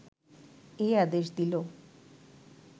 এই আদেশ দিল